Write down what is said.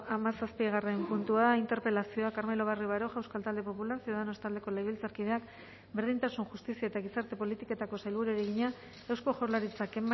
hamazazpigarren puntua interpelazioa carmelo barrio baroja euskal talde popularra ciudadanos taldeko legebiltzarkideak berdintasun justizia eta gizarte politiketako sailburuari egina eusko jaurlaritzak